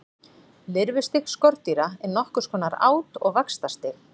Lirfustig skordýra er nokkurs konar át- og vaxtarstig.